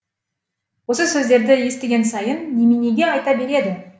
осы сөздерді естіген сайын неменеге айта береді